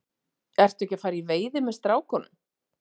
Ertu ekki að fara í veiði með strákunum?